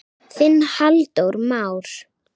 Þinn Halldór Már.